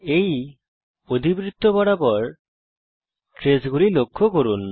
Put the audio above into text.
এই অধিবৃত্ত বরাবর ট্রেসগুলি লক্ষ্য করুন